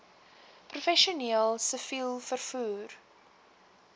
professioneel siviel vervoer